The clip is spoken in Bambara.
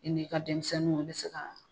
I n'i ka denmisɛnninw i bɛ se ka